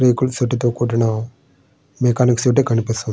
రేకుల షెడ్ తో కూడిన మెకానిక్ షెడ్ కనిపిస్తా --